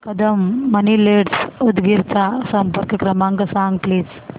Kadam money lenders Udgir चा संपर्क क्रमांक सांग प्लीज